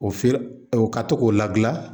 O feer o ka to k'o ladilan